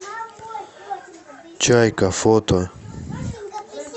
чайка фото